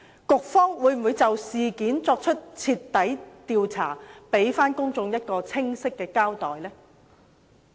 局方會否就事件作出徹底調查，給公眾一個清晰的交代？